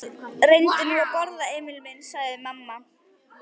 Reyndu nú að borða, Emil minn, sagði mamma.